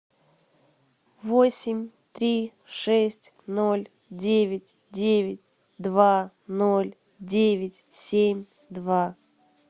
восемь три шесть ноль девять девять два ноль девять семь два